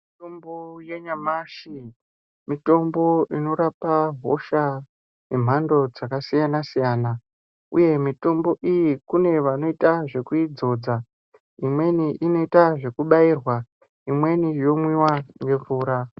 Mitombo yanyamashi mitombo inorapa hosha dzemhando dzakasiyana-siyana uye mitombo iyi kune vanoita zvekuidzodza. Imweni inoita zvekubairwa, imweni yomwiwa nemvura.